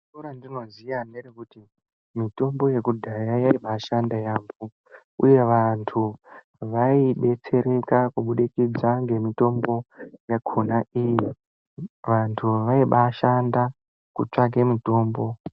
Idi randinoziva ngerekuti mitombo yakudhaya yabaashanda yaampho uye vantu vaideretsereka kubudikidza nemitombo yakhona iyi. Uye vantu vaibaashanda kutsvaka mitombo .